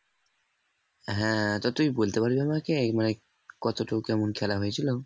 হ্যাঁ তো তুই বলতে পারবি আমাকে মানে কতটুকু কেমন খেলা হয়েছিল